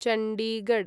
Chandigarh